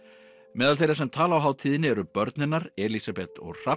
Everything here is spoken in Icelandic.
meðal þeirra sem tala á hátíðinni eru börn hennar Elísabet og Hrafn